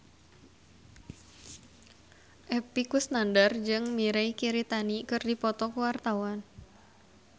Epy Kusnandar jeung Mirei Kiritani keur dipoto ku wartawan